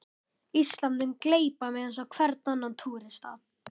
Ísland mun gleypa mig eins og hvern annan túrista.